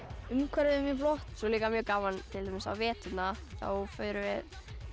umhverfið er mjög flott svo er líka mjög gaman til dæmis á veturna þá förum við